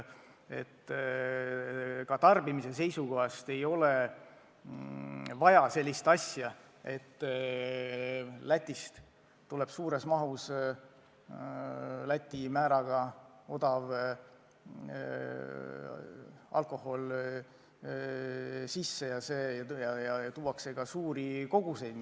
Ka tarbimise seisukohast ei ole vaja sellist asja, et Lätist ostetakse suures mahus Läti aktsiisimääraga odavat alkoholi ja tuuakse Eestisse.